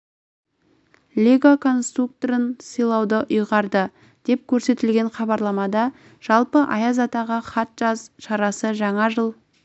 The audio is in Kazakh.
лего конструкторын сыйлауды ұйғарды деп көрсетілген хабарламада жалпы аяз атаға хат жаз шарасы жаңа жыл